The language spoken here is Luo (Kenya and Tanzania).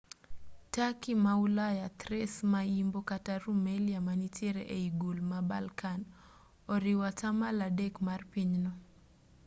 turkey ma ulaya thrace ma imbo kata rumelia manitiere ei gul ma balkan oriwo 3% mar pinyno